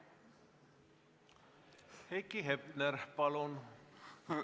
Heiki Hepner, palun!